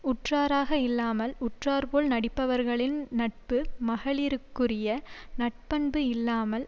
உற்றாராக இல்லாமல் உற்றார்போல நடிப்பவர்களின் நட்பு மகளிருக்குரிய நற்பண்பு இல்லாமல்